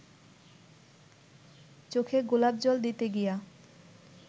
চোখে গোলাপ জল দিতে গিয়া